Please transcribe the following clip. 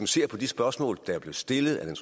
ser på de spørgsmål der blev stillet af den